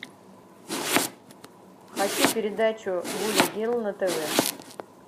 хочу передачу гули герл на тв